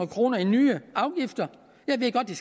kroner i nye afgifter jeg ved godt at